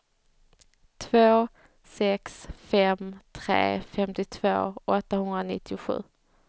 två sex fem tre femtiotvå åttahundranittiosju